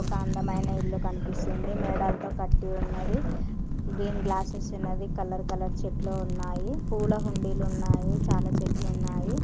ఒక అందమైన ఇల్లు కనిపిస్తోంది మెడలతో కటి ఉన్నదీ మేద గ్లాసెస్ ఉన్నవి కలర్ కలర్ చెట్లు ఉన్నాయి పుల్ల ఉండిల్లు ఉన్నాయి చాలా చెట్లు ఉన్నాయి.